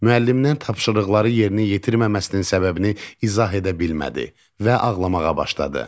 Müəllimdən tapşırıqları yerinə yetirməməsinin səbəbini izah edə bilmədi və ağlamağa başladı.